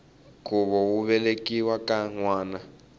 khuvo wo velekiwa ka nwana